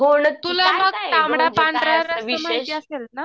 तुला ना तांबडा पांढरा रस्सा माहिती असेल ना